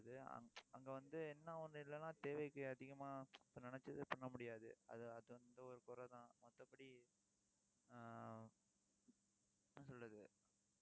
அங்க வந்து, என்ன ஒண்ணு இல்லைன்னா தேவைக்கு அதிகமா இப்ப நினைச்சது பண்ண முடியாது. அது அது வந்து, ஒரு குறைதான். மத்தபடி ஆஹ் என்ன சொல்றது